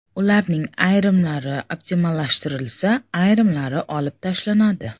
Ularning ayrimlari optimallashtirilsa, ayrimlari olib tashlanadi.